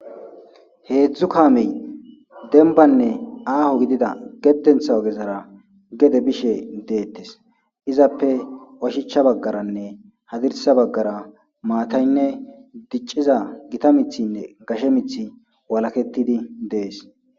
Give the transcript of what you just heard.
Heedzdzu kaamey denbanne aaho gidida geddentha ogezara gede bishe deettes izappe oshicha baggaranne hadirsa baggara maataynne dicciza gita mithinne gashe mith walakettidi dees.